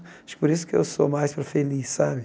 Acho que por isso que eu sou mais para feliz, sabe?